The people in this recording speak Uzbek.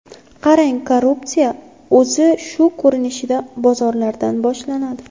Qarang, korrupsiya o‘zi shu ko‘rinishda bozorlardan boshlanadi.